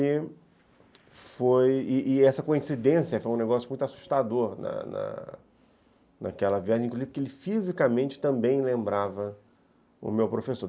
E foi, e essa coincidência foi um negócio muito assustador na na naquela viagem, inclusive porque ele fisicamente também lembrava o meu professor.